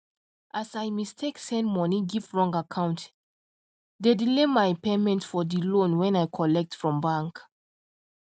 as i mistake send money give wrong acct d delay my payment for the loan when i collect from bank